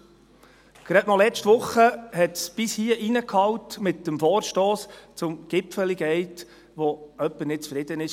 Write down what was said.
Gerade letzte Woche hallte es, in Form des Vorstosses betreffend «Gipfeli Gate», bis hier hinein, weil jemand nicht zufrieden war.